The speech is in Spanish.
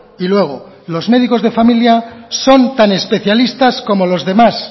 y luego los médicos de familia son tan especialistas como los demás